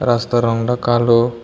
রাস্তার রং ডা কালো